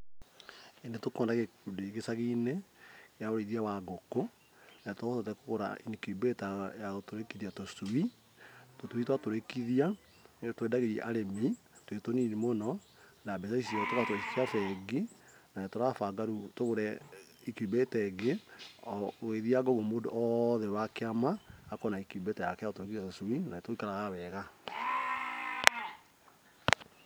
Nĩtũkoragwo na gĩkundi gĩcagi-inĩ, kĩa ũrĩithia wa ngũkũ. Na nĩ tũhotete kũgũra incubator ya gũtũrĩkithia tũcui. Tũcui twatũrĩkithia nĩtwendagĩria arĩmi twĩ tũnini mũno. Na mbeca icio tũgacitwara bengi. Na nĩ turabanga rĩu tũgũre incubator ĩngĩ, o gũgĩthianga o ũguo mũndũ wothe wa kĩama akorwo na incubator yake ya gũtũrĩkithia tũcui. Na nĩ turutaga wega.